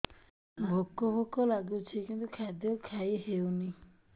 ଭୋକ ଭୋକ ଲାଗୁଛି କିନ୍ତୁ ଖାଦ୍ୟ ଖାଇ ହେଉନି